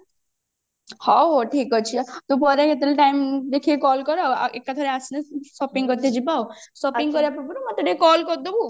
ହଉ ତୁ ପରେ କେତେବେଳେ time ଦେଖିକି call କରେ ଆଉ ଏକାଥରେ ଆସିଲେ shopping କରିକି ଯିବା ଆଉ shopping କରିବା ପୂର୍ବରୁ ମତେ ଟିକେ call କରିଦବୁ ଆଉ